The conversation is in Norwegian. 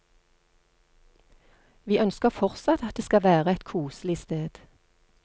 Vi ønsker fortsatt at det skal være et koselig sted.